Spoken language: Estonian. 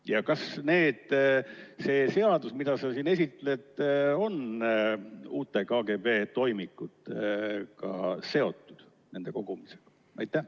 Ja kas see seadus, mida sa siin esitled, on uute KGB toimikutega, nende kogumisega, seotud?